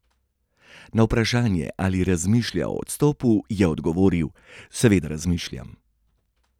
Na vprašanje, ali razmišlja o odstopu, je odgovoril: "Seveda razmišljam.